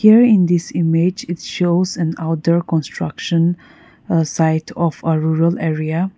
here in this image it shows an outdoor construction site of a rural area.